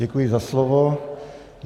Děkuji za slovo.